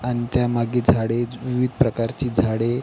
आणि त्यामागे झाडे विविध प्रकारची झाडे--